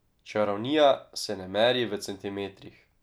Čarovnija se ne meri v centimetrih.